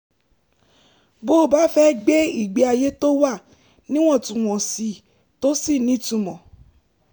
bó o bá fẹ́ gbé ìgbé ayé tó wà níwọ̀ntúnwọ̀nsì tó sì nítumọ̀